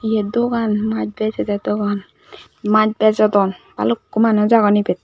yet dogan maj bejede dogan maj bejodon bhalukku manuj agon ibet.